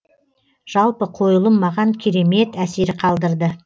жалпы қойылым маған керемет әсер қалдырды